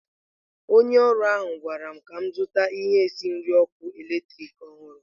Onye ọrụ ahụ gwara m ka m zụta ihe esi nri ọkụ eletrik ọhụrụ.